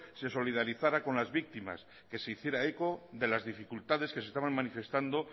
se solidarizara con las víctimas que se hiciera eco de las dificultades que se estaban manifestando